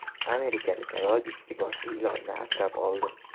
Amerikalik ayol ikki boshli ilonni asrab oldi.